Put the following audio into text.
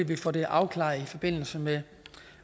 vi får det afklaret i forbindelse med